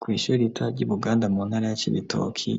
Kwishuri rito ry'ubuganda mu ntara ya cibitoki